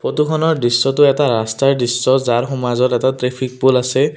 ফটোখনৰ দৃশ্যটো এটা ৰাস্তাৰ দৃশ্য যাৰ সোমাজত এটা ট্ৰেফিক প'ল আছে।